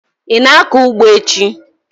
Ị na-akọ ugbo echi?